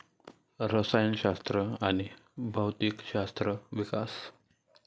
रसायनशास्त्र आणि भौतिकशास्त्र विकास